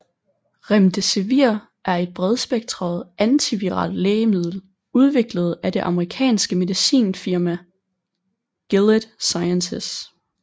Remdesivir er et bredspektret antiviralt lægemiddel udviklet af det amerikanske medicinalfirma Gilead Sciences